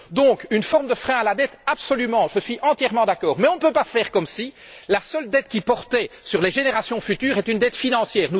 Donc une forme de frein à la dette, absolument, je suis entièrement d'accord, mais on ne peut pas faire comme si la seule dette qui portait sur les générations futures était une dette financière.